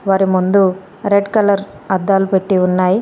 అర ముందు red colour అద్దాలు పెట్టి ఉన్నాయ్.